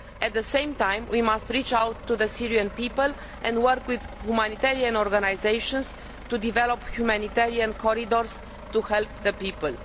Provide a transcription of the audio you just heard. At the same time we must reach out to the Syrian people and work with humanitarian organisations to develop humanitarian corridors to help the people.